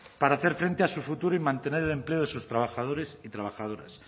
para hacer frente a su futuro y mantener el empleo de sus trabajadores y trabajadoras